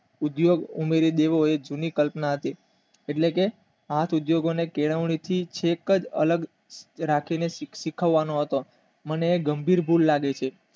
ઉદ્યોગ ઉમેરી દેવો એ જૂનીકલ્પના હતી એટલે કે આ પૂજાય લોકો ની કેળવણી થી છેક થી અલગ રાખી ને શીખવાડવાનો હતો મને એ ગભર લાગે છે.